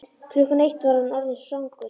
Klukkan eitt var hann orðinn svangur.